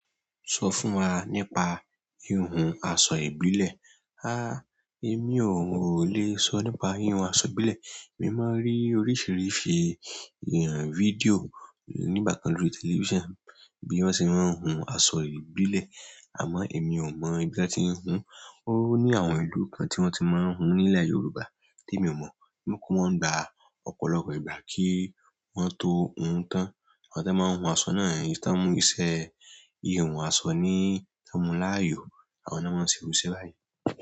So fún wa nípa ihun aṣọ ìbílẹ̀ èmi ò le sọ nípa ìhùn aṣọ ìbílẹ̀. Èmi máa ń rí oríṣìíríṣìí fídíò nígbà kan lórí tẹlifísàn bí wọ́n ṣe máa ń hun aṣọ ìbílẹ̀. Àmọ́ èmi ò mọ̀ bí wọ́n ti ń hun. Ó ní àwọn ìlú kan tí wọ́n ti máa ń hun nílẹ̀ Yorùbá tí èmi ò mọ̀. O kun mọ́n n gba ọ̀pọ̀lọpọ̀ ìgbà kí wọ́n tó hun tán. Àwọn tí wọ́n máa ń hun aṣọ náà, èyí tàn mú iṣẹ́ ìhùn aṣọ ní, tàn mú láàyò àwọn náà máa se irú iṣẹ́ báyìí.